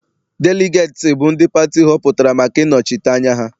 Deligeeti bụ ndị pati họpụtara maka ịnọchite anya ha.